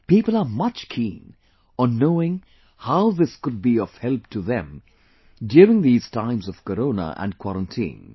People are much keen on knowing how this could be of help to them during these times of Corona & quarantine